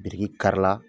Biriki kari la